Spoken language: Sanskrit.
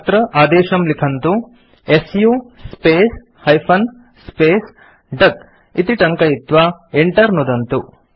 अत्र आदेशं लिखन्तु160 सु स्पेस् हाइफेन स्पेस् डक इति टङ्कयित्वा Enter नुदन्तु